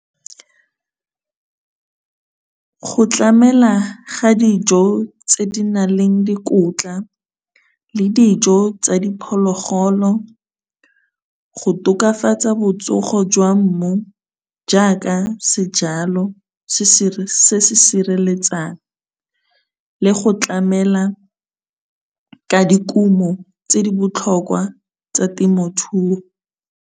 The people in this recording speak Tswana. Go tlamela ga dijo tse di na leng dikotla le dijo tsa diphologolo, go tokafatsa botsogo jwa mmu jaaka sejalo se se sireletsang le go tlamela ka dikumo tse di botlhokwa tsa temothuo.